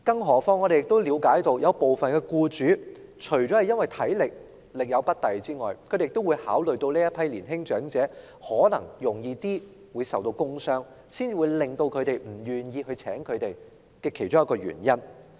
我們亦了解到，部分僱主不願意聘用年青長者，除了因為考慮到他們力有不逮外，他們可能較易受到工傷亦是僱主不願意予以聘請的其中一個原因。